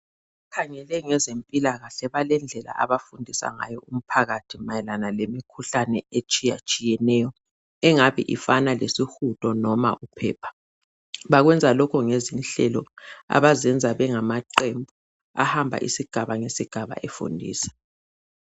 Abakhangele ngezempilakahle balendlela abafundisa ngayo umphakathi mayelana lemikhuhlane etshiyatshiyeneyo, engabe ifana lesihudo noma uphepha. Bakwenza lokho ngezinhlelo abazenza bengamaqembu ahamba isigaba ngesigaba efundisa.